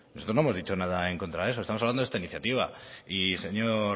nosotros no hemos dicho nada en contra de eso estamos hablando de esta iniciativa y señor